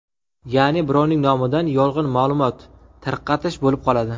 Ya’ni birovning nomidan yolg‘on ma’lumot tarqatish bo‘lib qoladi.